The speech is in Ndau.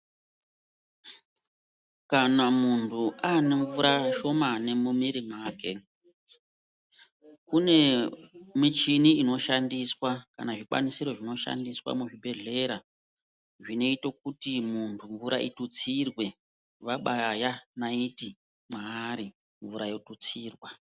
Kana muntu aane mvura shomani mumwiri mwake kune michini inoshandiswa kana zvikwanisiro zvinoshandiswa muzvibhedhleya zvinoite kuti muntu mvura itutsirwe vabaya naiti mvura yotutsirwa.